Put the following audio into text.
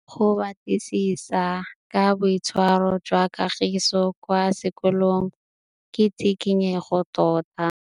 Go batlisisa ka boitshwaro jwa Kagiso kwa sekolong ke tshikinyêgô tota.